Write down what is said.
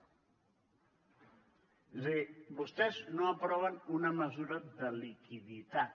és a dir vostès no aproven una mesura de liquiditat